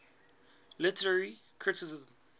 literary criticism